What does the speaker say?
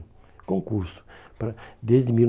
concurso para, desde mil